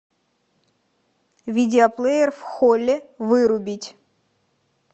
видеоплеер в холле вырубить